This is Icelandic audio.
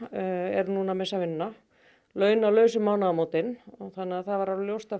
er núna að missa vinnuna launalaus um mánaðamótin þannig að það var alveg ljóst að